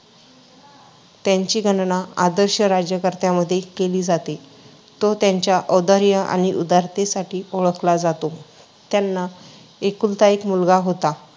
त्यांची गणना आदर्श राज्यकर्त्यांमध्ये केली जाते. तो त्याच्या औदार्य आणि उदारतेसाठी ओळखला जातो. त्यांना एकुलता एक मुलगा होता,